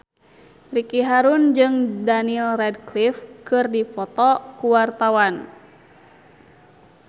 Ricky Harun jeung Daniel Radcliffe keur dipoto ku wartawan